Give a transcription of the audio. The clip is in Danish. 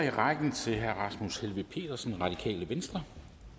i rækken til herre rasmus helveg petersen radikale venstre